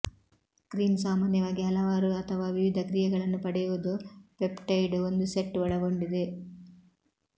cream ಸಾಮಾನ್ಯವಾಗಿ ಹಲವಾರು ಅಥವಾ ವಿವಿಧ ಕ್ರಿಯೆಗಳನ್ನು ಪಡೆಯುವುದು ಪೆಪ್ಟೈಡ್ ಒಂದು ಸೆಟ್ ಒಳಗೊಂಡಿದೆ